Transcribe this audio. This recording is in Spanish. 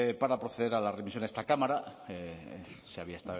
para proceder a la remisión a esta cámara se había